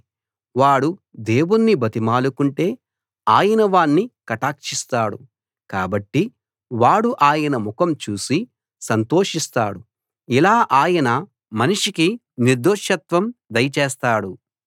వాడు దేవుణ్ణి బతిమాలుకుంటే ఆయన వాణ్ణి కటాక్షిస్తాడు కాబట్టి వాడు ఆయన ముఖం చూసి సంతోషిస్తాడు ఇలా ఆయన మనిషికి నిర్దోషత్వం దయచేస్తాడు